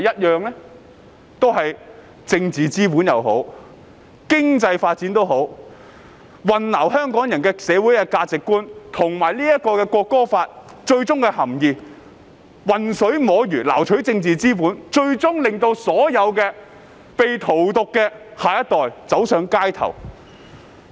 用政治或經濟發展來混淆香港人的社會價值觀和《條例草案》的含意，混水摸魚的撈取政治資本，最終令到所有被荼毒的下一代走上街頭。